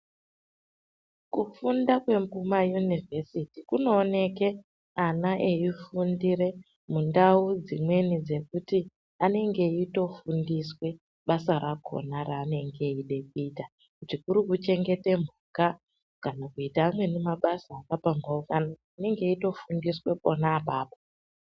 Kufunda kwekumayunivhesiti kunooneke ana eifundire mundau dzimweni dzekuti anenge eitofundiswe basa rakhona raanenge eide kuita. Kuti kuri kuchengete mhuka, kana kuita amweni mabasa akapambhaukana, anenge eitofundiswe pona apapo.